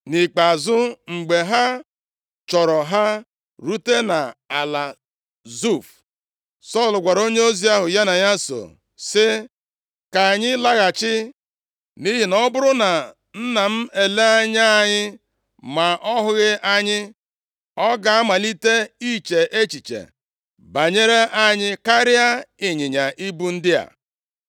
Nʼikpeazụ, mgbe ha chọọrọ ha rute nʼala Zuf, Sọl gwara onyeozi ahụ ya na ya so, sị, “Ka anyị laghachi, nʼihi na ọ bụrụ na nna m elee anya anyị ma ọ hụghị anyị, ọ ga-amalite iche echiche banyere anyị karịa ịnyịnya ibu ndị a.”